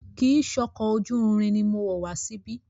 Kìí ṣe ọkọ̀ ojú irin ni mo wọ̀ wá síbí.